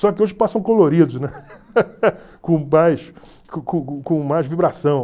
Só que hoje passam coloridos, né? Com com mais vibração.